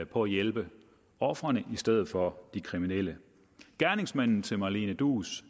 på at hjælpe ofrene i stedet for de kriminelle gerningsmanden til malene duus